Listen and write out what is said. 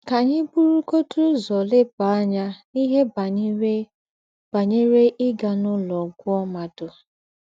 Kà ànyì burùgọ̀dì úzọ̀ lèbá ànyà n’íhe bányerè bányerè ígà n’ụlọ̀ gwúọ̀ m̀ádụ́.